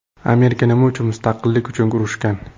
Amerika nima uchun mustaqillik uchun urushgan?